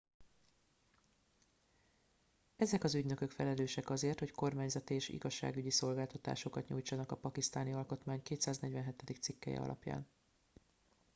ezek az ügynökök felelősek azért hogy kormányzati és igazságügyi szolgáltatásokat nyújtsanak a pakisztáni alkotmány 247. cikkelye alapján